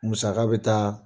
Musaka bɛ taa